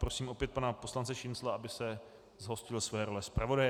Prosím opět pana poslance Šincla, aby se zhostil své role zpravodaje.